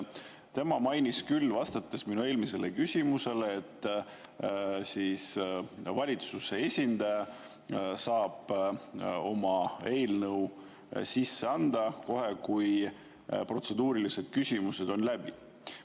Tema mainis küll, vastates minu eelmisele küsimusele, et valitsuse esindaja saab oma eelnõu sisse anda kohe, kui protseduurilised küsimused on läbi.